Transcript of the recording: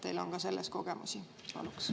Teil on ka selles kogemusi.